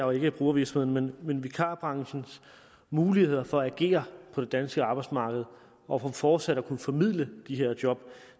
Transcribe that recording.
og ikke brugervirksomhederne vikarbranchens muligheder for at agere på det danske arbejdsmarked og for fortsat at kunne formidle de her job